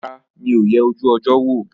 Rárá, mi ò yẹ ojú ọjọ́ wò